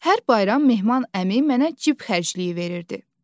Hər bayram Mehman əmi mənə cib xərcliyi verirdi.